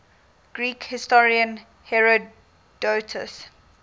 greek historian herodotus